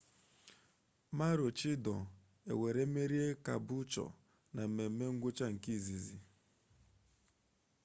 maroochidore ewere merie caboolture na mmeme ngwụcha nke izizi